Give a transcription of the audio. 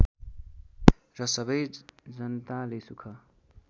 र सबै जनताले सुख